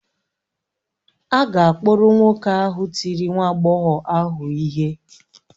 A ga-akpụrụ nwoke ahụ tiri nwa agbọghọ ahụ ihe.